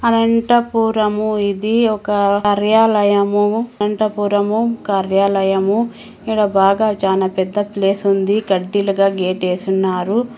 అనంతపురము ఇది ఒక కార్యాలయము అనంతపురము ఒక కార్యాలయము ఈడ బాగా చానా పెద్ద ప్లేస్ ఉంది గడ్డీలుగా గేట్ వేసున్నారు.